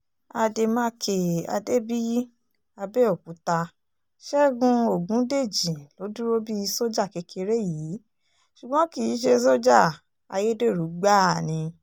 àdèmàkè adébíyí abẹ́òkúta ṣẹ́gun ọ̀gúndẹ̀jì ló dúró bíi sójà kékeré yìí ṣùgbọ́n kì í ṣe sójà ayédèrú gbáà ni